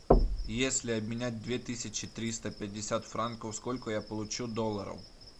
если обменять две тысячи триста пятьдесят франков сколько я получу долларов